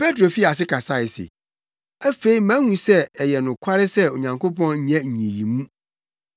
Petro fii ase kasae se, “Afei mahu sɛ ɛyɛ nokware sɛ Onyankopɔn nyɛ nyiyimu,